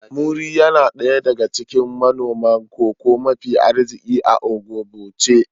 Muri yana daya daga cikin manomin Cocoa mafi arziki a Ogboche